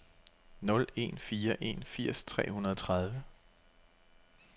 nul en fire en firs tre hundrede og tredive